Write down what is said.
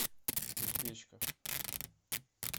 узбечка